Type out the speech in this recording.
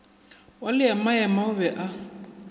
wa leemaema o be a